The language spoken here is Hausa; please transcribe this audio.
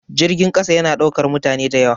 Jirgin ƙasa ya na ɗaukan mutane da yawa